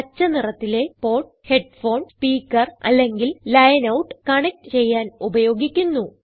പച്ച നിറത്തിലെ port headphone speaker അല്ലെങ്കിൽ ലൈൻ ഔട്ട് കണക്റ്റ് ചെയ്യാൻ ഉപയോഗിക്കുന്നു